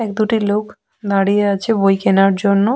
এক দুটি লোক দাঁড়িয়ে আছে বই কেনার জন্য।